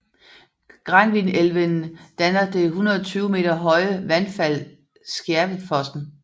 Granvinelven danner det 120 m høje vandfald Skjervefossen